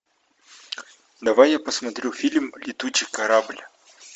давай я посмотрю фильм летучий корабль